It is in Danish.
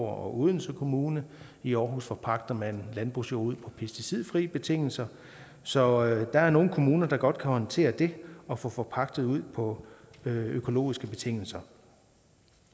og odense kommune i aarhus forpagter man landbrugsjord ud på pesticidfri betingelser så der er nogle kommuner der godt kan håndtere det at få forpagtet ud på økologiske betingelser